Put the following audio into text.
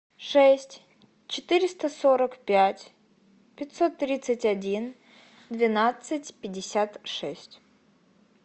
шесть четыреста сорок пять пятьсот тридцать один двенадцать пятьдесят шесть